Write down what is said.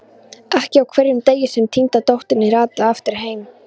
Ekki á hverjum degi sem týnda dóttirin rataði aftur heim.